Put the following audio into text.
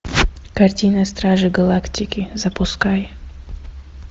картина стражи галактики запускай